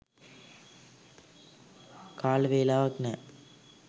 කාල වේලාවක් නෑ.